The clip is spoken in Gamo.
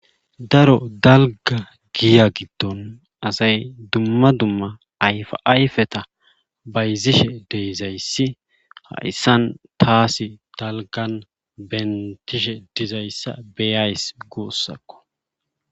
Daro dalga giya giddon asay dumma dumma ayfayfeta bayzishe deizayssi hayssan taasi dalgan bentishe dizayssa beyays guussakko.